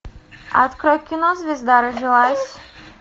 открой кино звезда родилась